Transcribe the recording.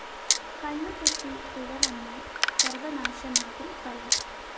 കണ്ണുതെറ്റി പിഴ വന്നാല്‍ സര്‍വനാശമാകും ഫലം